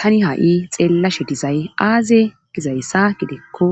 Tani ha'i xeellashe dizay aaze gizayssa gidikko